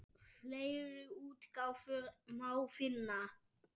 Fleiri útgáfur má finna.